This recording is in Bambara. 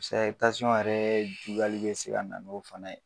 Paseke yɛrɛ juguyali bi se ka na n'o fana ye